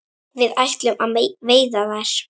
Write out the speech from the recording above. Við ætlum að veiða þær